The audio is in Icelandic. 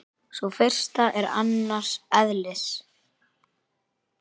Sú fyrsta er annars eðlis.